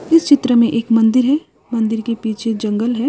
इस चित्र में एक मंदिर है मंदिर के पीछे जंगल है।